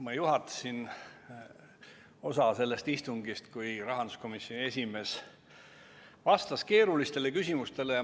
Ma juhatasin osa sellest istungist, kui rahanduskomisjoni esimees vastas keerulistele küsimustele.